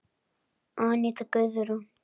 Aníta Guðrún.